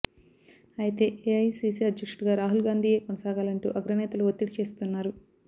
అయితే ఏఐసీసీ అధ్యక్షుడిగా రాహుల్ గాంధీయే కొనసాగాలంటూ అగ్రనేతలు ఒత్తిడి చేస్తున్నారు